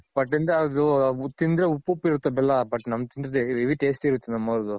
but ತಿಂದರೆ ಉಪ್ಪುಪ್ಪ್ ಇರುತ್ತೆ ಬೆಲ್ಲ but ನಮ್ದ್ ತಿಂದ್ರೆ heavy taste ಇರುತ್ತೆ ನಮ್ಮವ್ದ್ರು.